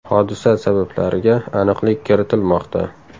Hodisa sabablariga aniqlik kiritilmoqda.